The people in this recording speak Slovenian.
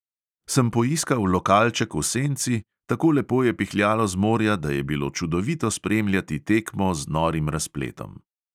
Sem poiskal lokalček v senci, tako lepo je pihljalo z morja, da je bilo čudovito spremljati tekmo z norim razpletom.